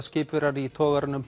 skipverjar í togaranum